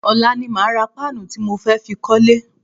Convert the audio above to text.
Ọ̀la ni màá ra páànù tí mo fẹ́ fi kọ́lẹ́.